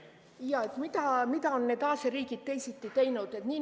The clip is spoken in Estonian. Jaa, mida on need Aasia riigid teisiti teinud?